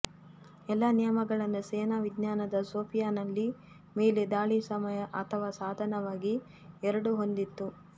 ಎಲ್ಲಾ ನಿಯಮಗಳನ್ನು ಸೇನಾ ವಿಜ್ಞಾನದ ಸೋಫಿಯಾ ನಲ್ಲಿ ಮೇಲೆ ದಾಳಿ ಸಮಯ ಅಥವಾ ಸಾಧನವಾಗಿ ಎರಡೂ ಹೊಂದಿತ್ತು